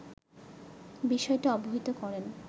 বিষয়টি অবহিত করেন